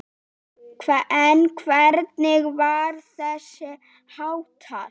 En hvernig var þessu háttað?